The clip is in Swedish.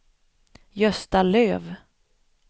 Gösta Löf